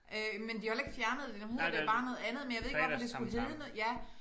Øh men de har jo heller ikke fjernet det nu hedder det bare noget andet men jeg ved ikke hvorfor det skulle hedde noget ja